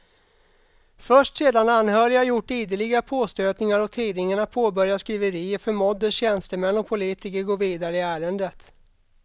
Först sedan anhöriga gjort ideliga påstötningar och tidningarna påbörjat skriverier förmåddes tjänstemän och politiker gå vidare i ärendet.